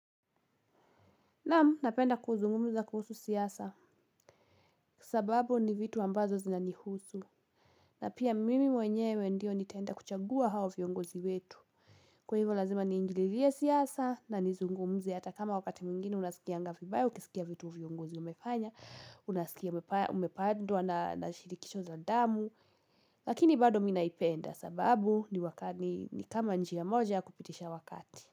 Naam, napenda kuzungumza kuhusu siasa, sababu ni vitu ambazo zina nihusu. Na pia mimi mwenyewe ndio nitaenda kuchagua hao viongozi wetu. Kwa hivyo lazima niingililie siasa na nizungumze hata kama wakati mwingine unasikianga vibaya, ukisikia vitu viongozi umefanya, unasikia umepadwa na shirikisho za damu. Lakini bado mimi naipenda sababu ni wakati ni kama njia moja kupitisha wakati.